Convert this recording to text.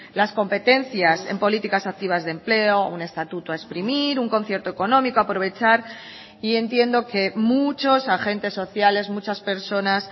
las competencias en políticas activas de empleo un estatuto a exprimir un concierto económico a aprovechar y entiendo que muchos agentes sociales muchas personas